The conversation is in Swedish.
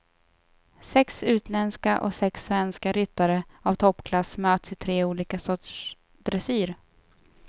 Sex utländska och sex svenska ryttare av toppklass möts i tre olika sorters dressyr.